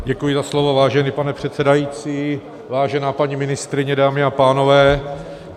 Děkuji za slovo, vážený pane předsedající, vážená paní ministryně, dámy a pánové.